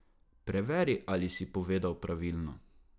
Preveri, ali si povedal pravilno.